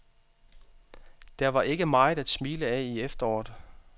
Der var ikke meget at smile af i efteråret.